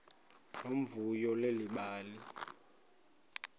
nomvuyo leli bali